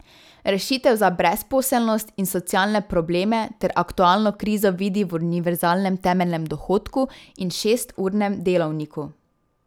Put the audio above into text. Rešitev za brezposelnost in socialne probleme ter aktualno krizo vidi v univerzalnem temeljnem dohodku in šesturnem delovniku.